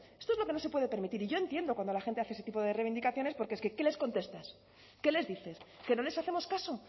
esto es lo que no se puede permitir y yo entiendo cuando la gente hace ese tipo de reivindicaciones porque es que qué les contestas qué les dices que no les hacemos caso